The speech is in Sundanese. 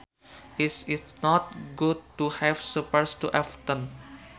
It is not good to have suppers too often